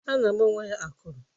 A na-agbanwe ya akụrụ.